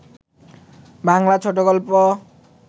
বাংলা ছোট গল্প